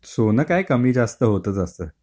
सोनं काय कमी जास्त होतंच असतं.